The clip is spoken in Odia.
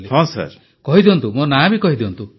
ପ୍ରଧାନମନ୍ତ୍ରୀ କହି ଦିଅନ୍ତୁ ମୋ ନାଁ କହି ଦିଅନ୍ତୁ